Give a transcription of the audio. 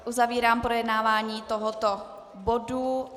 Uzavírám projednávání tohoto bodu.